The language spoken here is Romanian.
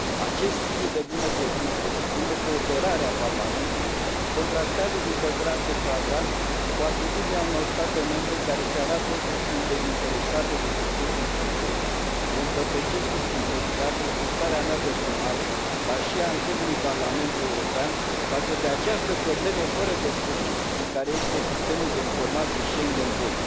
Acest spirit de bună credință și bună cooperare a Parlamentului contrastează, din păcate, flagrant cu atitudinea unor state membre care arată că sunt dezinteresate de succesul SIS II. Vă împărtășesc cu sinceritate frustrarea mea personală, dar și a întregului Parlament European, față de această problemă fără de sfârșit care este Sistemul de Informații Schengen II.